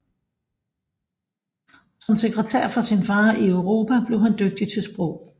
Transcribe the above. Som sekretær for sin far i Europa blev han dygtig til sprog